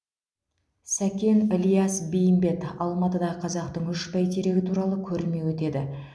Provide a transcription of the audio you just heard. сәкен ілияс бейімбет алматыда қазақтың үш бәйтерегі туралы көрме өтеді